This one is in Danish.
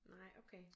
Nej okay